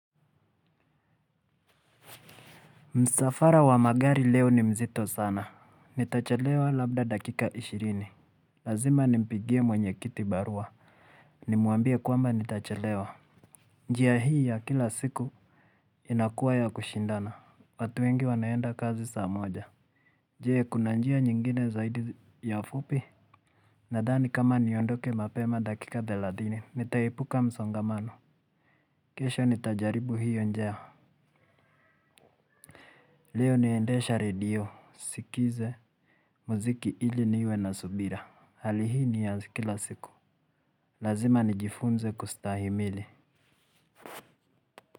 Msafara wa magari leo ni mzito sana. Nitachelewa labda dakika ishirini lazima nipigie mwenye kitu barua. Nimuambie kwamba nitachelewa. Njia hii ya kila siku inakua ya kushindana. Watu wengi wanaenda kazi saa moja. Jee kuna njia nyingine zaidi ya fupi nadhani kama niondoke mapema dakika thelathini nitaepuka msongamano, kesho nitajaribu hio njia. Leo naendesha radio. Sikize muziki ili niwe na subira. Hali hii ni ya zi kila siku. Lazima nijifunze kustahimili.